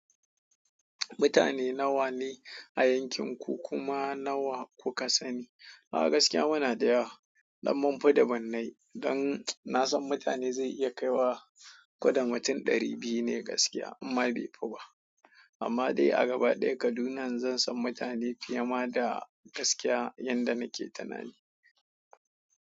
Mutane nawa ne a yankinku kima nawa kuka sani. A gaskiya muna da yawa, ɗan munfi dubunnai don na san mutane zai iya kaiwa koda mutum ɗari biyu ne gaskiya amma bai fi ba. Amma dai a gaba ɗaya Kaduna zan san mutane fiye ma da gaskiya yanda nake tunani.